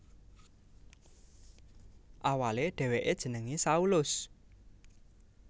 Awalé dhèwèké jenengé Saulus